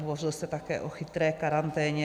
Hovořil jste také o chytré karanténě.